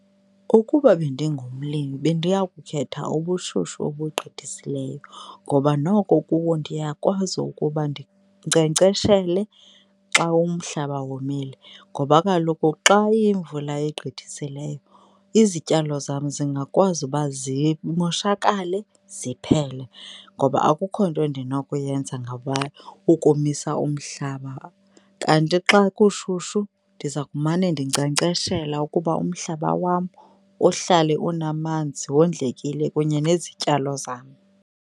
Ukuba bendingumlimi bendiya kukhetha ubushushu obugqithisileyo ngoba noko kuwo ndiyakwazi ukuba ndinkcenkceshele xa umhlaba womile ngoba kaloku xa iyimvula egqithisileyo, izityalo zam zingakwazi uba zimoshakale ziphele ngoba akukho nto endinokuyenza ngaba ukomisa umhlaba. Kanti xa kushushu ndiza kumane ndinkcenkceshela ukuba umhlaba wam uhlale unamanzi wondlekile kunye nezityalo zam.